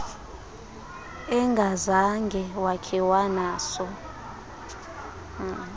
engazange wakhe wanaso